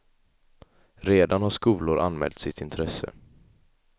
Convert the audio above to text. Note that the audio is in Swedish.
Redan har skolor anmält sitt intresse.